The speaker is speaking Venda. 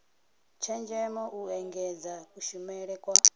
tshenzhemo u engedza kushumele kwa